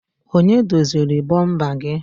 Onye doziri bomper gị?